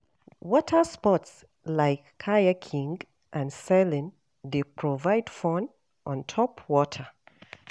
Water sports like kayaking and sailing dey provide fun on top water.